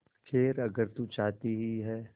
खैर अगर तू चाहती ही है